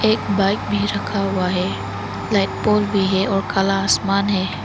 एक बाइक भी रखा हुआ है लाइट पोल भी है और काला आसमान है।